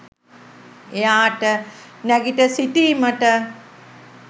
එයාට නැගිට සිටීමට